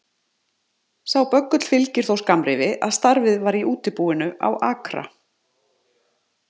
Sá böggull fylgdi þó skammrifi að starfið var í útibúinu á Akra